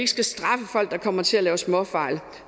skal straffe folk der kommer til at lave småfejl